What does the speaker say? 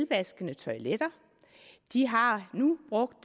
vasketoiletter de har nu brugt